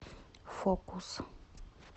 фокус